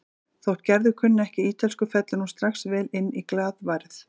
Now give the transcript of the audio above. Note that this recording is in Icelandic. Þótt Gerður kunni ekki ítölsku fellur hún strax vel inn í glaðværð